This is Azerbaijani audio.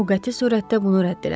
O qəti surətdə bunu rədd elədi.